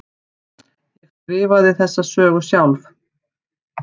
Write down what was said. Ég skrifaði þessa sögu sjálf.